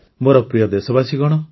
ମୋର ପ୍ରିୟ ଦେଶବାସୀଗଣ